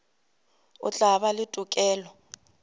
o tla ba le tokelo